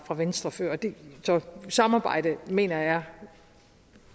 af venstre før samarbejdet mener jeg er